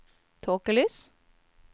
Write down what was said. tåkelys